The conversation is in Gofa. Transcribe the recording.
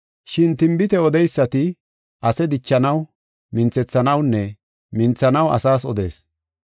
Shin tinbite odeysati ase dichanaw, minthethanawunne minthanaw asas odees.